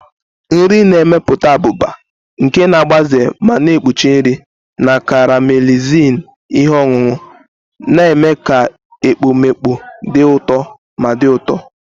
Nri na-emepụta abụba, nke na-agbaze ma na-ekpuchi nri, na caramelizing ihe ọṅụṅụ, na-eme ka ekpomeekpo dị ụtọ ma dị ụtọ.